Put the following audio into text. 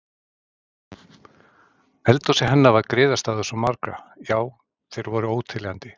Eldhúsið hennar var griðastaður svo margra, já þeir voru óteljandi.